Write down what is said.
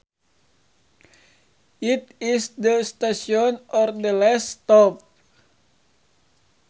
It is the station or the last stop